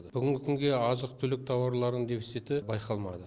бүгінгі күнге азық түлік тауарларының дефициті байқалмады